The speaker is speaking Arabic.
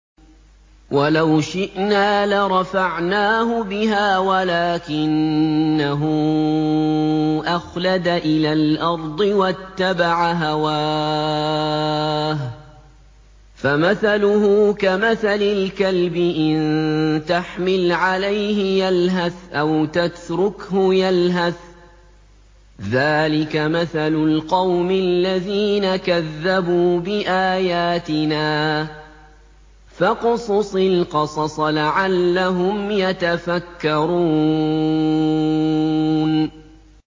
وَلَوْ شِئْنَا لَرَفَعْنَاهُ بِهَا وَلَٰكِنَّهُ أَخْلَدَ إِلَى الْأَرْضِ وَاتَّبَعَ هَوَاهُ ۚ فَمَثَلُهُ كَمَثَلِ الْكَلْبِ إِن تَحْمِلْ عَلَيْهِ يَلْهَثْ أَوْ تَتْرُكْهُ يَلْهَث ۚ ذَّٰلِكَ مَثَلُ الْقَوْمِ الَّذِينَ كَذَّبُوا بِآيَاتِنَا ۚ فَاقْصُصِ الْقَصَصَ لَعَلَّهُمْ يَتَفَكَّرُونَ